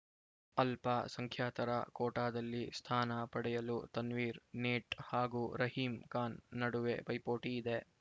ಅಲ್ಪಸಂಖ್ಯಾತರ ಕೋಟಾದಲ್ಲಿ ಸ್ಥಾನ ಪಡೆಯಲು ತನ್ವೀರ್‌ ನೆೇಠ್‌ ಹಾಗೂ ರಹೀಂ ಖಾನ್‌ ನಡುವೆ ಪೈಪೋಟಿಯಿದೆ